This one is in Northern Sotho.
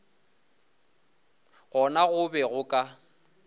gona go be go ka